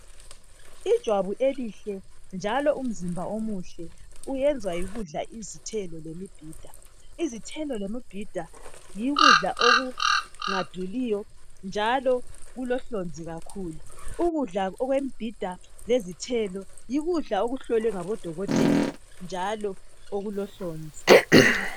Ijwabu elihle njalo umzimba omuhle wenziwa yikudla izithelo lemibhida. Lokhu kudla akuduli njalo kulohlonzi kakhulu. Ukudla lokhu kuhlolwe ngabodokotela njalo kulohlonzi.